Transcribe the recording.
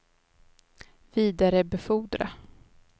vidarebefordra